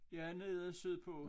Ja nede sydpå